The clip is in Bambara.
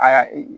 Aa e